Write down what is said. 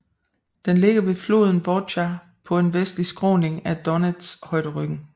Den ligger ved floden Vovcha på en vestlig skråning af Donets højderyggen